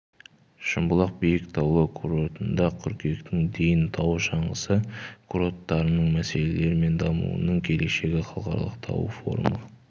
шымбұлақ биік таулы курортында қыркүйектің дейін тау шаңғысы курорттарының мәселелері мен дамуының келешегі халықаралық тау форумы